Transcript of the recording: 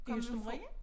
I Østermarie?